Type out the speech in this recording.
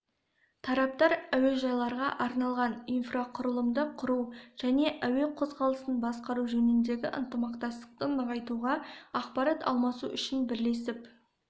тараптар әуежайларға арналған инфрақұрылымды құру және әуе қозғалысын басқару жөніндегі ынтымақтастықты нығайтуға ақпарат алмасу үшін бірлесіп